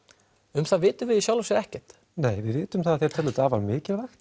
um það vitum við í sjálfu sér ekkert nei við vitum það að þeir telja þetta afar mikilvægt